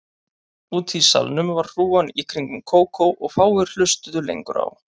Úti í salnum var hrúgan í kringum Kókó og fáir hlustuðu lengur á